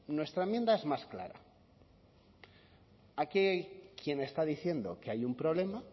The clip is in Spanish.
bueno nuestra enmienda es más clara aquí quien está diciendo que hay un problema